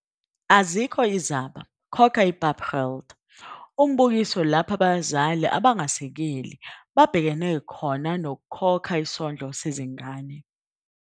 Azikho Izaba, Khokha iPapgeld - Umbukiso lapho abazali abangasekeli babhekene khona nokukhokha isondlo sezingane.